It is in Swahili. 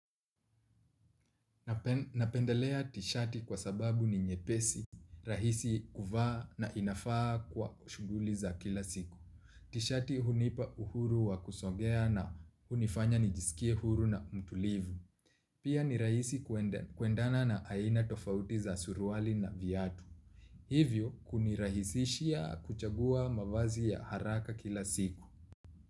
Napendelea ti shati kwa sababu ni nyepesi rahisi kuvaa na inafaa kwa shughuli za kila siku. Tishati hunipa uhuru wa kusongea na hunifanya nijisikie huru na mtulivu. Pia ni rahisi kuendana na aina tofauti za suruali na viatu. Hivyo kunirahisishia kuchagua mavazi ya haraka kila siku.